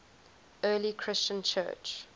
early christian church